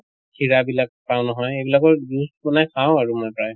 খীৰা বিলাক পাওঁ নহয় এইবিলাকৰো juice বনাই খাওঁ আৰু মই প্ৰায়।